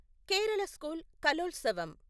Kerala school Kalolsavam